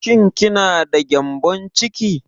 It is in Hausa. Shin ki na da gƴambon ciki?